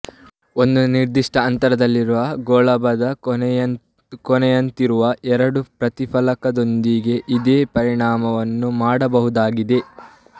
ಒಂದು ನಿರ್ಧಿಷ್ಟ ಅಂತರದಲ್ಲಿರುವ ಒಂದು ಗೋಳಾಭದ ಕೊನೆಯಂತಿರುವ ಎರಡು ಪ್ರತಿಫಲಕದೊಂದಿಗೆ ಇದೇ ಪರಿಣಾಮವನ್ನು ಮಾಡಬಹುದಾಗಿದೆ